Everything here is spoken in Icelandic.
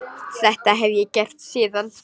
Þetta hef ég gert síðan.